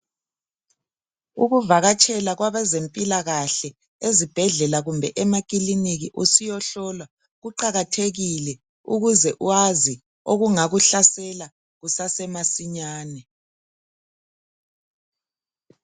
Ukuvakatshela kwabezempilakahle ezibhedlela kumbe emakilinikhi usiyahlolwa kuqakathekile ukuze wazi okungakuhlasela kusase masinyane